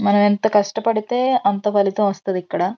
మనమెంత కష్టపడితే అంత ఫలితం వస్తాది ఇక్కడ--